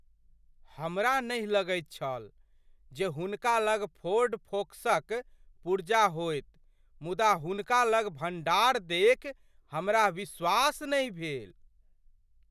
हमरा नहि लगैत छल जे हुनका लग फोर्ड फोकसक पुर्जा होयत मुदा हुनका लग भण्डार देखि हमरा विश्वास नहि भेल।